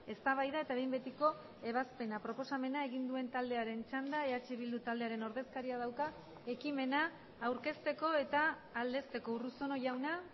eztabaida eta behin betiko ebazpena proposamena egin duen taldearen txanda eh bildu taldearen ordezkaria dauka ekimena aurkezteko eta aldezteko urruzuno jauna